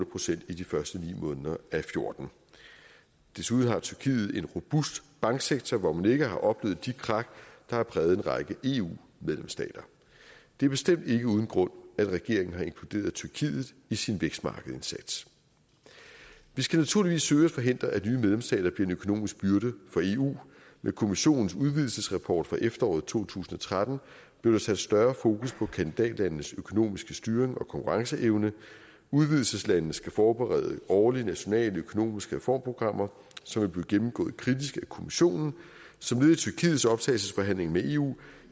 procent i de første ni måneder af og fjorten desuden har tyrkiet en robust banksektor hvor man ikke har oplevet de krak der har præget en række eu medlemsstater det er bestemt ikke uden grund at regeringen har inkluderet tyrkiet i sin vækstmarkedindsats vi skal naturligvis søge at forhindre at nye medlemsstater bliver en økonomisk byrde for eu med kommissionens udvidelsesrapport fra efteråret to tusind og tretten blev der sat større fokus på kandidatlandenes økonomiske styring og konkurrenceevne udvidelseslandene skal forberede årlige nationale økonomiske reformprogrammer som vil blive gennemgået kritisk af kommissionen som led i tyrkiets optagelsesforhandlinger med eu